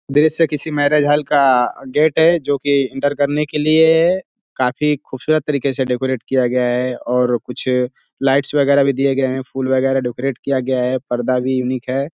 दृश्य किसी marriage hall का गेट है जोकि इंटर करने के लिए काफी खूबसूरत तरीके से डेकोरेट किया गया है और कुछ लाइट्स वगैरा भी दिए गए हैं फूल वगैरा डेकोरेट किया गया है। पर्दा भी यूनिक है।